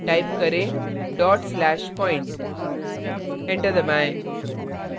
type करें dot slash point enter दबाएँ